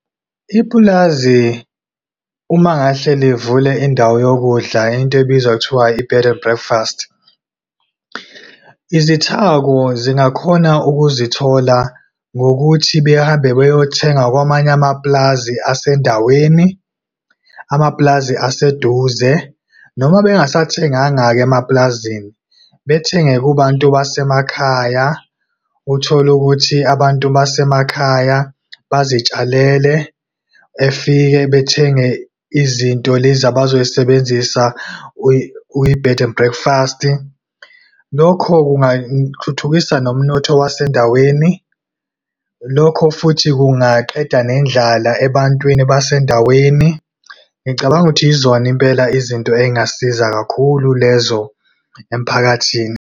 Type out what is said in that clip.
Ipulazi uma ngahle livule indawo yokudla, into ebizwa ngokuthiwa i-bed and breakfast, izithako zingakhona ukuzithola ngokuthi behambe beyothenga kwamanye amapulazi asendaweni, amapulazi aseduze. Noma bengasathenganga-ke emapulazini, bethenge kubantu basemakhaya, uthole ukuthi abantu basemakhaya bazitshalele, befike bethenge izinto lezi abazoyisebenzisa kwi-bed and breakfast. Lokho kungathuthukisa nomnotho wasendaweni, lokho futhi kungaqeda nendlala ebantwini basendaweni. Ngicabanga ukuthi yizona impela izinto ey'ngasiza kakhulu lezo emiphakathini.